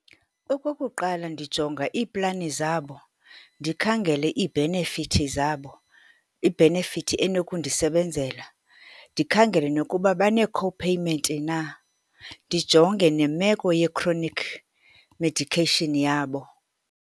Okokuqala, ndijonga iiplani zabo, ndikhangele iibhenefithi zabo, ibhenefithi enokundisebenzela. Ndikhangele nokuba banee-copayment na. Ndijonge nemeko ye-chronic medication yabo.